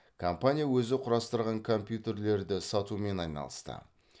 компания өзі құрастырған компьютерлерді сатумен айналысты